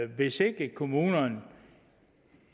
hvis ikke kommunen